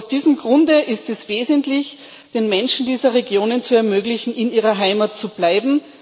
Aus diesem Grunde ist es wesentlich, den Menschen dieser Regionen zu ermöglichen, in ihrer Heimat zu bleiben.